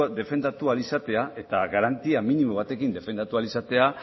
defendatu ahal izatea eta garantia minimo batekin defendatu ahal izatea